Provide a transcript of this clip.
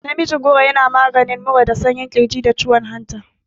Namijin goro yana maganin mura da sanyin ƙirji, da kiwon hanta.